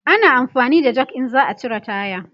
ana amfani da Jak in za'a cire taya